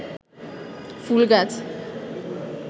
ফুল গাছ